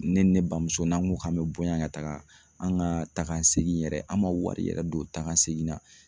Ne ni ne bamuso n'an ko k'an bɛ bɔ yan ka taaga, an ka taa ka segin yɛrɛ an ma wari yɛrɛ don taa ka segin na